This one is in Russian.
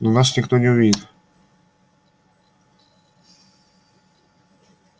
но нас никто не увидит